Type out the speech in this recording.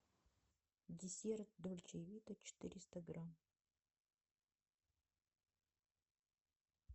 десерт дольче вита четыреста грамм